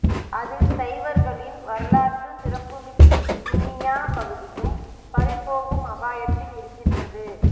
அதில் சைவர்களின் வரலாற்று சிறப்புமிக்க கிண்ணியா பகுதியும் பறிபோகும் அபாயத்தில் இருக்கின்றது